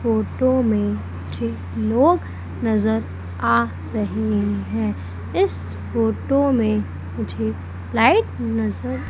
photo में मुझे लोग नजर आ रहे हैं इस फोटो में मुझे लाइट नजर--